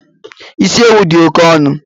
E, isi ewu dị oké ọnụ